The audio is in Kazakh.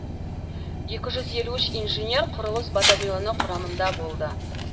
екі жүз елу үш инженер құрылыс батальоны құрамында болды